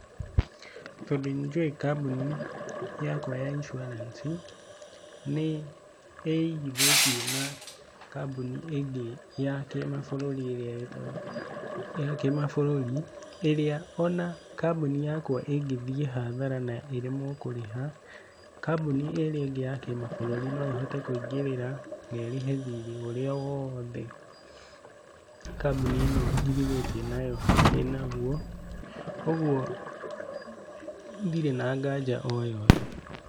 Tondũ nĩjũĩ kambuni yakwa ya insurance nĩ ĩigithĩtie na kambuni ĩngĩ ya kĩ mabũrũri ĩrĩa ĩtagwo, ya kĩ mabũrũri ĩrĩa ona kambuni yakwa ĩngĩthiĩ hathara na ĩremwo nĩ kũrĩha kambuni ĩrĩa ĩngĩ ya kĩ mabũrũri no ĩhote kũingĩrĩra na ĩrĩhe thiri ũrĩa wothe kambuni ĩno njigithĩtie nayo ĩna guo, ũguo ndirĩ na nganja o yothe.